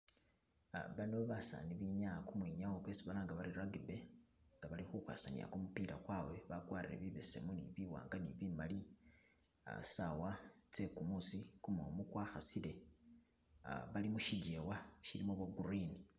Uh bano basani benyaya kumwinyawo kwesi balanga bari rugby nga bali khukhwesanila kumupila kwabwe , bakwarire bibesemu ne biwanga ne bimali uh saawa tse kumuusi kumumu kwa khasile uh bali musijeewa shiliwo bwo green.